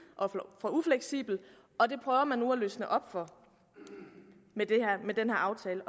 og for ufleksibel og det prøver man at løsne op for med den her aftale